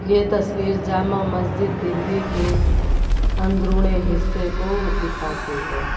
यह तस्वीर जामा मस्जिद दिल्ली के अंदरूनी हिस्से को दिखाती है।